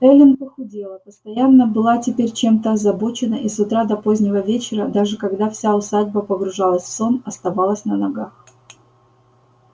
эллин похудела постоянно была теперь чем-то озабочена и с утра до позднего вечера даже когда вся усадьба погружалась в сон оставалась на ногах